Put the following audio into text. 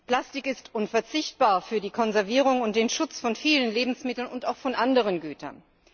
Plastik ist unverzichtbar für die Konservierung und den Schutz von vielen Lebensmitteln und auch von anderen Gütern.